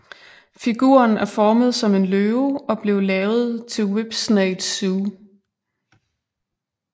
Figuren er formet som en løve og blev lavet til Whipsnade Zoo